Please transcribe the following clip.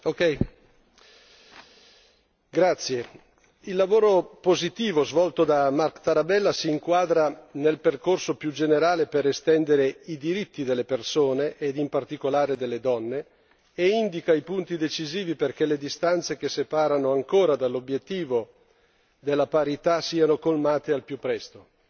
Signor Presidente, onorevoli colleghi, il lavoro positivo svolto da Marc Tarabella si inquadra nel percorso più generale per estendere i diritti delle persone, e in particolare delle donne, e indica i punti decisivi perché le distanze che separano ancora dall'obiettivo della parità siano colmate al più presto.